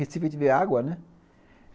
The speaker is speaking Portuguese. Recife a gente vê água, né?